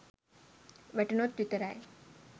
වැටුණොත් විතරයි.